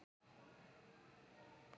Með öðrum augum en hans.